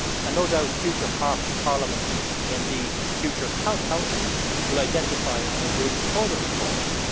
No doubt future Parliaments and indeed future Councils will identify and agree further reforms.